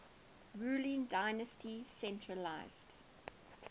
ruling dynasty centralised